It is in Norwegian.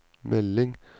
melding